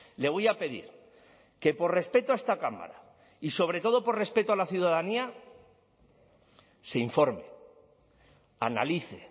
le voy a pedir que por respeto a esta cámara y sobre todo por respeto a la ciudadanía se informe analice